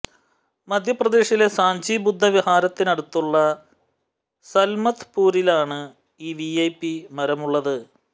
മധ്യപ്രദേശിലെ സാഞ്ചി ബുദ്ധ വിഹാരത്തിനടുത്തുള്ള സാല്മത് പുറിലാണ് ഈ വിഐപി മരമുള്ളത്